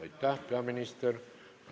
Aitäh, peaminister!